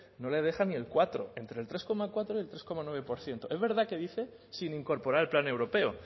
no le deja ni el cuatro entre el tres coma cuatro y el tres coma nueve por ciento es verdad que dice sin incorporar el plan europeo